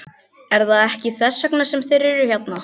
Er það ekki þess vegna sem þeir eru hérna?